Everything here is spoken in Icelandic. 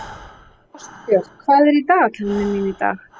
Ástbjörg, hvað er á dagatalinu mínu í dag?